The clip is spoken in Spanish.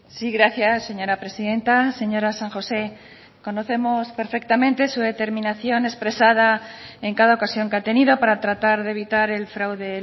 sí gracias señora presidenta señora san josé conocemos perfectamente su determinación expresada en cada ocasión que ha tenido para tratar de evitar el fraude